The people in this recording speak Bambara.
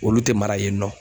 Olu tɛ mara yen nɔ.